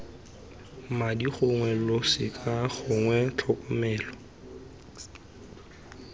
madi gongwe losika gongwe tlhokomelo